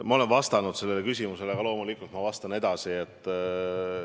Ma olen sellele küsimusele vastanud, aga loomulikult vastan veel.